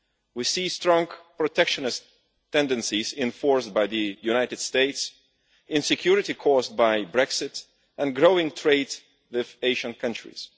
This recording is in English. We see strong protectionist tendencies enforced by the United States, insecurity caused by Brexit and growing trade with Asian countries.